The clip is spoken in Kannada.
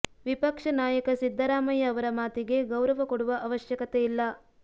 ವಿಪಕ್ಷ ನಾಯಕ ಸಿದ್ದರಾಮಯ್ಯ ಅವರ ಮಾತಿಗೆ ಗೌರವ ಕೊಡುವ ಅವಶ್ಯಕತೆ ಇಲ್ಲ